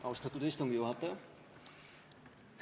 Austatud istungi juhataja!